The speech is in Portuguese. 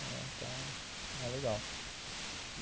Então, é legal.